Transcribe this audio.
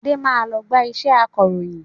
Adé máa lọ gba iṣẹ́ akọròyìn